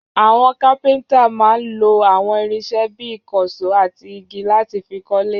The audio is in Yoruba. Àwọn kápẹ́ńtà máa ń lo àwọn irinṣẹ́ bí i ìkànṣó àti igi láti fi kọ́lé.